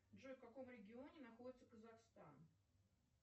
джой в каком регионе находится казахстан